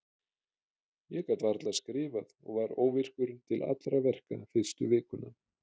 Ég gat varla skrifað og var óvirkur til allra verka fyrstu vikuna.